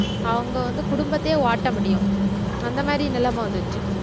அவங்க வந்து குடும்பத்தையே ஓட்ட முடியும் அந்த மாதிரி நிலைமை வந்திடுச்சு